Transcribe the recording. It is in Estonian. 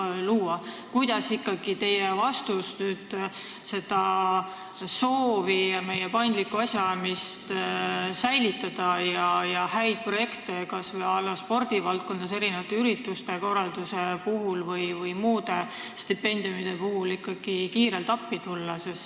Milline on ikkagi teie vastus, kui on soov säilitada meie paindlikku asjaajamist ja häid projekte, et saaksime kas või spordivaldkonna ürituste korraldamisel või muude stipendiumide puhul kiirelt appi tulla?